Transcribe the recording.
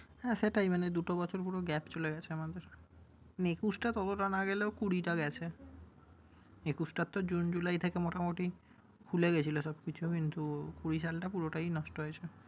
হ্যাঁ সেটাই মানে দুটো বছর পুরো gape চলে গেছে আমাদের। মানে একুশটা ততোটা না গেলেও কুড়িটা গেছে। একুশটা তো জুন, জুলাই থেকে মোটামুটি খুলে গেছিল সব কিছু কিন্তু কুড়ি সালটা পুরোটাই নষ্ট হয়েছে।